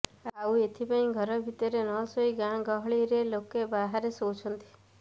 ଆଉ ଏଇଥିପାଇଁ ଘର ଭିତରେ ନ ଶୋଇ ଗାଁ ଗହଳିରେ ଲୋକେ ବାହାରେ ଶୋଉଛନ୍ତି